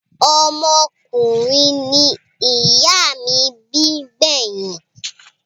Ọmọkùnrin ni ìyá mí bí gbẹ́yìn.